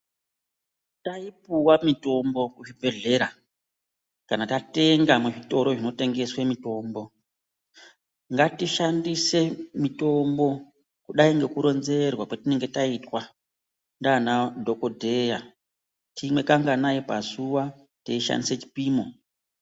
Kana taipiwa mitombo kuzvibhedhlera kana tatenga muzvitoro zvinotengeswe mitombo ngatishandise mitombo kudai nekuronzererwa kwatinenge taita naana dhokodheya timwe kanganai pazuva teishandisa chipimo .